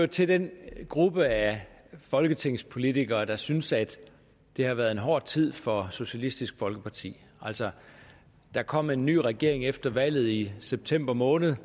til den gruppe af folketingspolitikere der synes at det har været en hård tid for socialistisk folkeparti altså der kom en ny regering efter valget i september måned